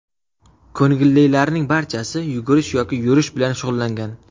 Ko‘ngillilarning barchasi yugurish yoki yurish bilan shug‘ullangan.